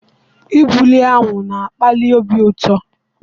Igburi awụ na-akpali obi ụtọ.